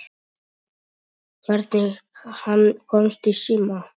Hvernig hann komst í síma.